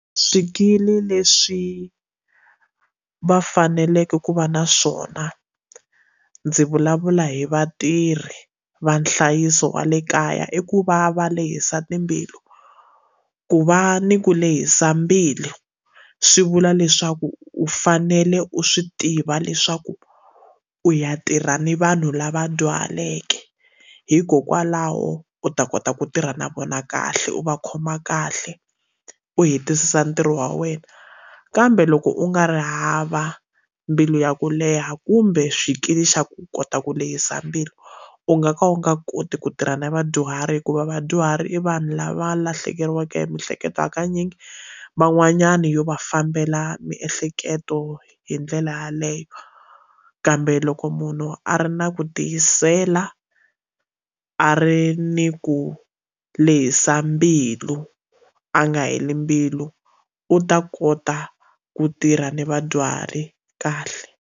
Swikili leswi va faneleke ku va na swona ndzi vulavula hi vatirhi va nhlayiso wa le kaya i ku va va lehisa timbilu ku va ni ku lehisa mbilu swi vula leswaku u fanele u swi tiva leswaku u ya tirha ni vanhu lava dyuhaleke hikokwalaho u ta kota ku tirha na vona kahle u va khoma kahle u hetisisa ntirho wa wena kambe loko u nga ri hava mbilu ya ku leha kumbe swikili xa ku kota ku lehisa mbilu u nga ka u nga koti ku tirha na vadyuhari hikuva vadyuhari i vanhu lava lahlekeriweke hi mihleketo hakanyingi van'wanyana yo va fambela miehleketo hi ndlela yaleyo kambe loko munhu a ri na ku tiyisela a ri ni ku lehisa mbilu a nga heli mbilu u ta kota ku tirha ni vadyuhari kahle.